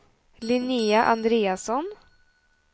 Linnéa Andreasson